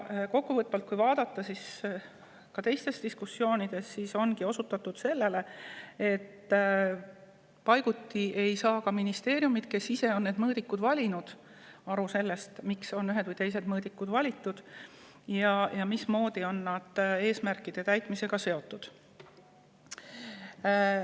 Kokku võttes on ka teistes diskussioonides osutatud sellele, et paiguti ei saa ka ministeeriumid, kes on ise need mõõdikud valinud, aru sellest, miks on ühed või teised mõõdikud valitud ja mismoodi on need eesmärkide täitmisega seotud.